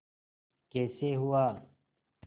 कैसे हुआ